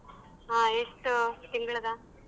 ಹಾ ಎಷ್ಟು ತಿಂಗ್ಳಿಗ?